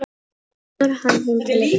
Kemur hann heim til ykkar?